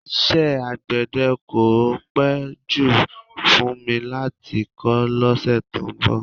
Iṣẹ́ alágbẹ̀dẹ́ kò ì pẹ́ jù fún mi láti kọ́ lọ́sẹ̀ tó ń bọ̀